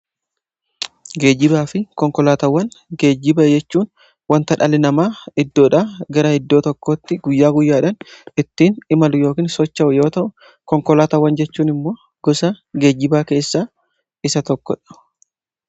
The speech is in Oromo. geejibaa fi konkolaatawwan, geejjibaa jechuun wanta dhali namaa iddoodha gara iddoo tokkotti guyyaa guyyaadhan ittiin imalu yookiin socho'u yoo ta'u, konkolaatawwan jechuun immoo gosa geejjibaa keessaa isa tokkodha.